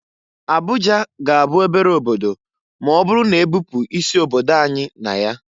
Abuja ga-abụ obere obodo ma ọbụrụ na-ebupu isi obodo anyị na ya.